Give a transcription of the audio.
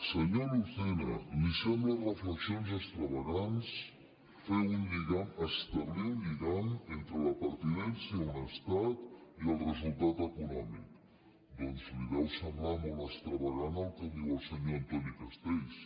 senyor lucena li semblen reflexions extravagants fer un lligam establir un lligam entre la pertinença a un estat i el resultat econòmic doncs li deu semblar molt extravagant el que diu el senyor antoni castells